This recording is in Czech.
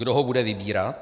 Kdo ho bude vybírat?